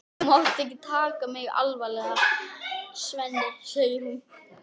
Þú mátt ekki taka mig alvarlega, Svenni, segir hún.